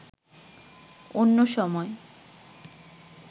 অন্য সময়